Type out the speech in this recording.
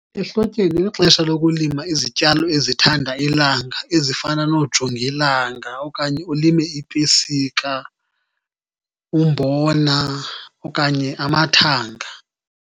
Ehlotyeni lixesha lokulima izityalo ezithanda ilanga ezifana noojongilanga okanye ulime ipesika, umbona okanye amathanga.